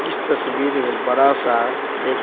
इस तस्वीर में बड़ा सा एक--